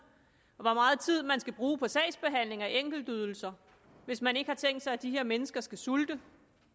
og hvor meget tid man skal bruge på sagsbehandling af enkeltydelser hvis man ikke har tænkt sig at de her mennesker skal sulte